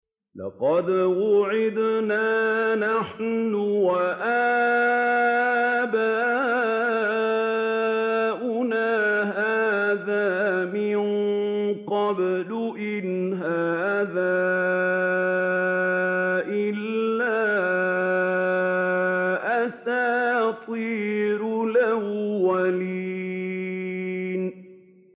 لَقَدْ وُعِدْنَا نَحْنُ وَآبَاؤُنَا هَٰذَا مِن قَبْلُ إِنْ هَٰذَا إِلَّا أَسَاطِيرُ الْأَوَّلِينَ